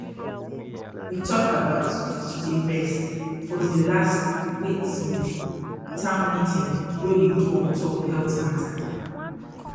we talk about to dey rest for di last wait small town meeting wey we do ontop health matter